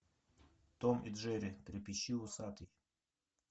том и джерри трепещи усатый